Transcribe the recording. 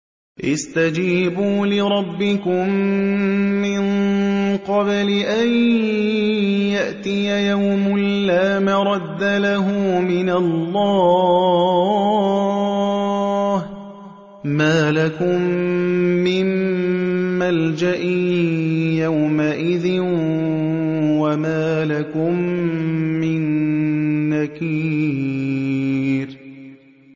اسْتَجِيبُوا لِرَبِّكُم مِّن قَبْلِ أَن يَأْتِيَ يَوْمٌ لَّا مَرَدَّ لَهُ مِنَ اللَّهِ ۚ مَا لَكُم مِّن مَّلْجَإٍ يَوْمَئِذٍ وَمَا لَكُم مِّن نَّكِيرٍ